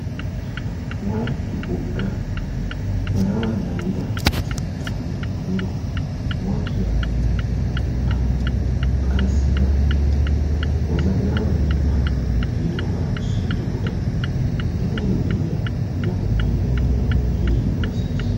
wolaytti wogga, ba zawaa naagidda cinccanne mino morkkiya xayssida wozanaama biitta giididogaa siyiddo wode etayo de'iya minotettay keehi ufayssiis.